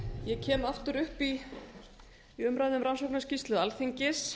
ég kem aftur upp í umræðu um rannsóknarskýrslu alþingis